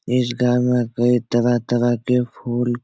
इस घर में कई तरह-तरह का फूल --